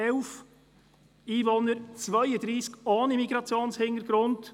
9111 Einwohner, 32 ohne Migrationshintergrund.